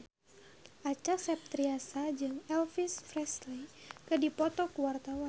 Acha Septriasa jeung Elvis Presley keur dipoto ku wartawan